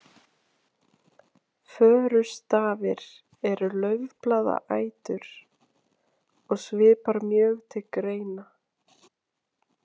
Förustafir eru laufblaðaætur og svipar mjög til greina.